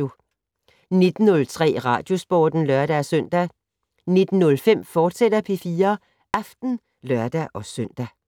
19:03: Radiosporten (lør-søn) 19:05: P4 Aften, fortsat (lør-søn)